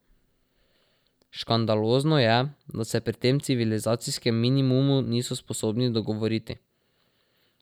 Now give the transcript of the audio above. Škandalozno je, da se pri tem civilizacijskem minimumu niso sposobni dogovoriti.